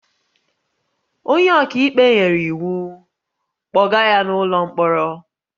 "Onye ọka ikpe nyere iwu, "kpọga ya n'ụlọ mkpọrọ"